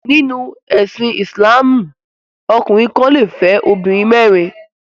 Nínú ẹsìn Ìsìlámù ọkùnrin kan le fẹ́ obìnrin mẹ́rin.